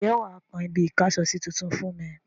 Ǹjẹ́ wà á kan ibi-ìkásọsí tuntun fún mi?